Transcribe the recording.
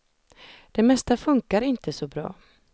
Det mesta funkar inte så bra.